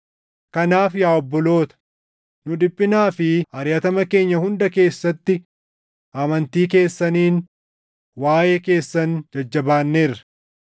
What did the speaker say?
Kanaaf yaa obboloota, nu dhiphinaa fi ariʼatama keenya hunda keessatti amantii keessaniin waaʼee keessan jajjabaanneerra.